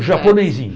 Japonêsinho.